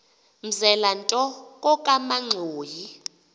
mzela nto kokamanxhoyi